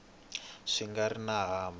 swi nga ri na mhaka